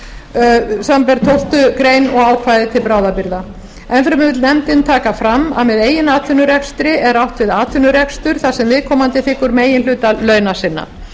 samanber tólftu greinar og ákvæði til bráðabirgða en fremur vill nefndin taka fram að með eigin atvinnurekstri er átt við atvinnurekstur þar sem viðkomandi þiggur meginhluta launa sinna